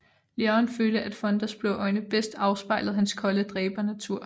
Leone følte at Fondas blå øjne bedst afspejlede hans kolde dræbernatur